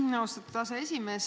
Aitäh, austatud aseesimees!